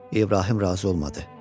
İbrahim razı olmadı.